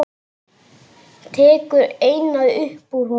Tekur eina upp úr honum.